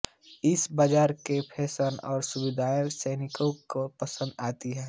इस बाजार का फैशन और सुविधाएं सैलानियों को पसंद आती हैं